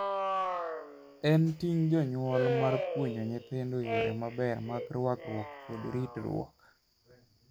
En ting' jonyuol mar puonjo nyithindo yore maber mag ruakruok kod ritruok.